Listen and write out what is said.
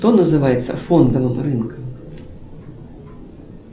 что называется фондовым рынком